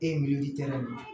E mi tɛnɛ